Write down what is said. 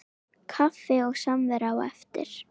Kaffi og samvera á eftir.